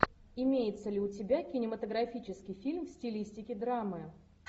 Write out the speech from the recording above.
имеется ли у тебя кинематографический фильм в стилистике драмы